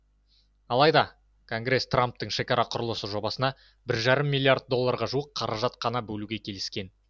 алайда конгресс трамптың шекара құрылысы жобасына бір жарым миллиард долларға жуық қаражат қана бөлуге келіскен